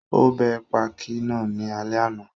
Ó bẹ pákí náà ní alẹ́ àná